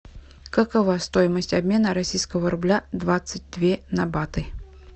какова стоимость обмена российского рубля двадцать две на баты